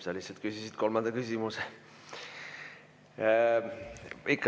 Sa lihtsalt küsisid kolmanda küsimuse.